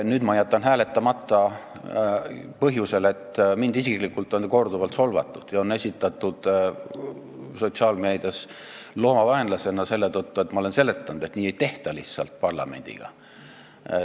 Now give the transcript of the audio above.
Nüüd ma jätan hääletamata põhjusel, et mind isiklikult on korduvalt solvatud ja mind on sotsiaalmeedias esitatud loomade vaenlasena selle tõttu, et ma olen seletanud, et nii parlamendiga lihtsalt ei tehta.